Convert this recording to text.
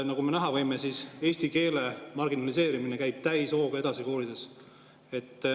Nagu me näha võime, eesti keele marginaliseerimine käib koolides täishooga edasi.